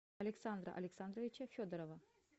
александра александровича федорова